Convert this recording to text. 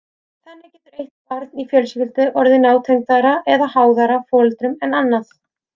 Þannig getur eitt barn í fjölskyldu orðið nátengdara eða háðara foreldrum en annað.